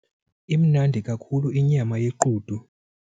Imnandi kakhulu inyama yequdu.